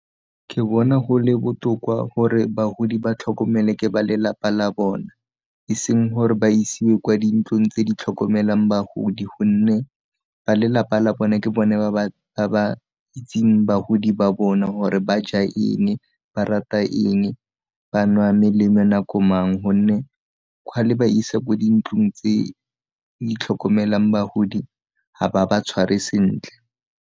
Ke bona go le botoka gore bagodi ba tlhokomele ke ba lelapa la bona, e seng gore ba isiwe kwa dintlong tse di tlhokomelang bagodi gonne ba lelapa la bone ke bone ba ba itseng bagodi ba bona gore ba ja eng, ba rata eng, ba nwa melemo nako mang, gonne ga le ba isa ko dintlong tse di tlhokomelang bagodi ga ba ba tshware sentle.